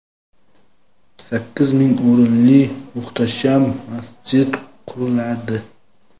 sakkiz ming o‘rinli muhtasham masjid quriladi.